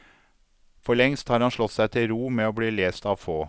Forlengst har han slått seg til ro med å bli lest av få.